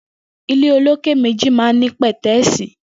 Ilé ólóké méji mà n ni pẹtẹẹsi